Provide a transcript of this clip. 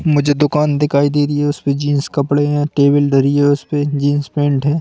मुझे दुकान दिखाई दे रही है उसपे जींस कपड़े हैं टेबल ढरी है उसपे जींस पेंट है।